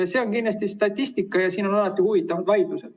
See on kindlasti statistika ja siin on alati huvitavad vaidlused.